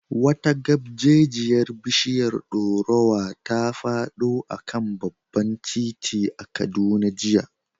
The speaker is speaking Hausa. Wata gabjejiyar bishiyar dorowa ta fado a kan babban titi a Kaduna jiya.